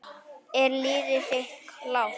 Er liðið þitt klárt?